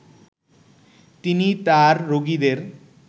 তিনি তাঁর রোগীদের